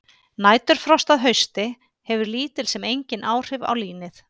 Næturfrost að hausti hefur lítil sem engin áhrif á línið.